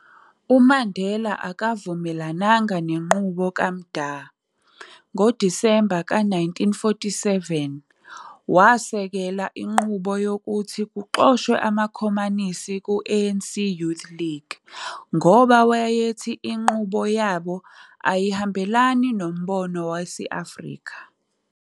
UMandela akavumelananga nenqubo kaMda, ngoDisemba ka 1947, wasekela inqubo yokuthi kuxoshwe amakhomanisi ku-ANCYL, ngoba wayethi inqubo yabo ayihambelana nombono wesi-Afrika.